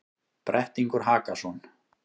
Brettingur Hakason,